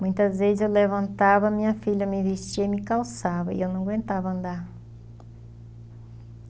Muitas vezes eu levantava, minha filha me vestia e me calçava e eu não aguentava andar.